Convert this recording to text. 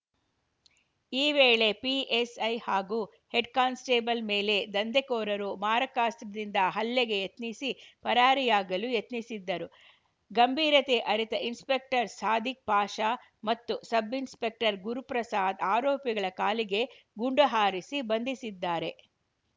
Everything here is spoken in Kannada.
ಈ ವೇಳೆ ಪಿಎಸ್‌ಐ ಹಾಗೂ ಹೆಡ್‌ಕಾನ್ಸ್‌ಟೇಬಲ್‌ ಮೇಲೆ ದಂಧೆಕೋರರು ಮಾರಕಾಸ್ತ್ರದಿಂದ ಹಲ್ಲೆಗೆ ಯತ್ನಿಸಿ ಪರಾರಿಯಾಗಲು ಯತ್ನಿಸಿದ್ದರು ಗಂಭೀರತೆ ಅರಿತ ಇನ್ಸ್‌ಪೆಕ್ಟರ್‌ ಸಾದಿಕ್‌ ಪಾಷಾ ಮತ್ತು ಸಬ್‌ಇನ್ಸ್‌ಪೆಕ್ಟರ್‌ ಗುರುಪ್ರಸಾದ್‌ ಆರೋಪಿಗಳ ಕಾಲಿಗೆ ಗುಂಡು ಹಾರಿಸಿ ಬಂಧಿಸಿದ್ದಾರೆ